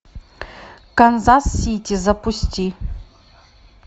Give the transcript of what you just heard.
канзас сити запусти